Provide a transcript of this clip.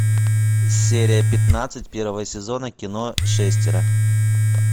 серия пятнадцать первого сезона кино шестеро